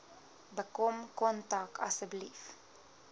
bekom kontak asseblief